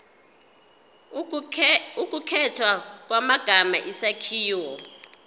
ukukhethwa kwamagama isakhiwo